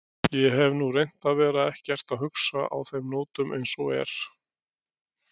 Ég hef nú reynt að vera ekkert að hugsa á þeim nótunum eins og er.